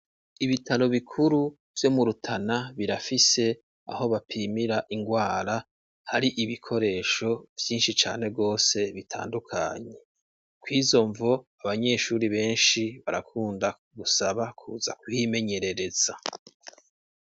Ibitaro bikuru vyo mu Rutana birafise aho bapimira ingwara, hari ibikoresho vyinshi cane gose bitandukanye, kwizo mvo abanyeshuri benshi barakunda gusaba kuza kuhimenyerereza.